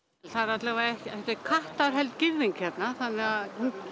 það er allavega kattarheld girðing hérna þannig að